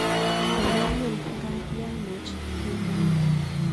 Ma nyumnyum ngaa kiamuch,"kimwa